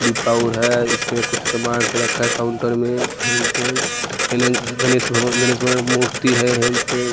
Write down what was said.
है इसमें कुछ सामान रखा है काउंटर में हेन तेन गणेश गणेश भगवान गणेश की मूर्ति है हेन तेन।